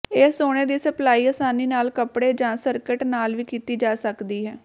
ਇਹ ਸੋਨੇ ਦੀ ਸਪਲਾਈ ਆਸਾਨੀ ਨਾਲ ਕੱਪੜੇ ਜਾਂ ਸਕਰਟ ਨਾਲ ਵੀ ਕੀਤੀ ਜਾ ਸਕਦੀ ਹੈ